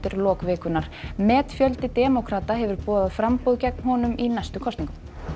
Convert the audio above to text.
lok vikunnar metfjöldi demókrata hefur boðað framboð gegn honum í næstu kosningum